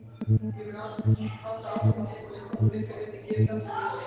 Ég mun halda áfram að geyma leyndarmál ykkar ef þið gerið það sem ég segi.